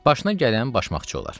Başına gələn başmaqçı olar.